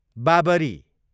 Babri